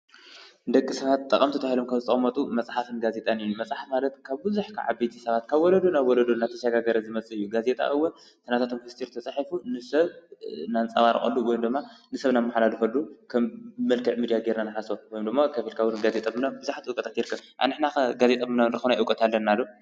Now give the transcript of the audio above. ደቂ ሰባት ጠቐምቲ ተባሂሎም ከብ ዝተቐመጡ መፅሓፍን ጋዜጠን እዩ፡፡ መፅሓፍ ማለት ካብ ብዙሕ ካብ ዓበይቲ ሰባት፣ ካብ ወለዶ ናብ ውሉዶ እናተሸጋገረ ዝመፅእ እዩ፡፡ ጋዜጣ እውን እቲ ናታቶም ምስጢር ተፃሒፉ ንሰብ ነንፀባርቐሉ ወይም ደማ ንሰብ ነመሓላልፈሉ ከም መልከዕ ሚድያ ጌርና ንሓስቦ ወይም ደማ ኮፍ ኢልካ እውን ጋዜጠ ምንባብ ብዙሓት እውቀታት ይርከብ፡፡ ኣንሕና ኸ ጋዜጠ ናይ ምንባብ እውቀት እኔና ዶ?